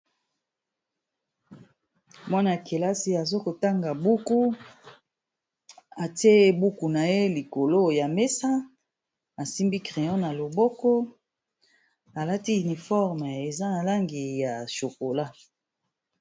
mwana yakelasi aza kotanga buku ate buku na ye likolo ya mesa asimbi crayon na loboko alati uniforme ,eza na langi ya chokola.